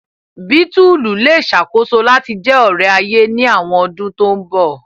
Bítùlù le ṣakoso lati jẹ ore-aye ni awọn ọdun to nbọ.